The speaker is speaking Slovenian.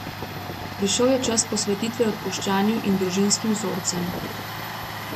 Prišel je čas posvetitve odpuščanju in družinskim vzorcem.